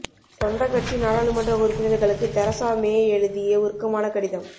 சொந்த கட்சி நாடாளுமன்ற உறுப்பினர்களுக்கு தெரசா மே எழுதிய உருக்கமான கடிதம்